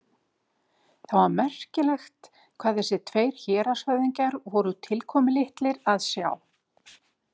Það var merkilegt hvað þessir tveir héraðshöfðingjar voru tilkomulitlir að sjá.